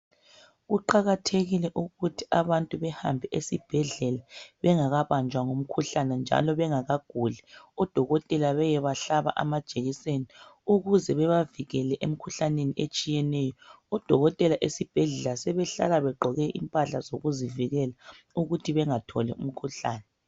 kuqakathekile ukuthi abantu behambe esibhedlela njalo bengakaguli ukuze bengabanja ngumkhuhlane njalo bengaguli odokotela beyebahlabe amajekiseni ukuze bebavikele emkhuhlaneni etshiyeneyo odokotela esibhela sebehlala begqoke impahla zokuzivikela ukze bengatholi imikhuhlane